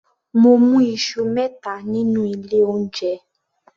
Mo mú Isu mẹta nínú ilé oúnjẹ